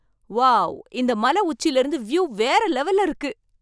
Wow! இந்த மலை உச்சிலருந்து வியூ வேற லெவல்ல இருக்கு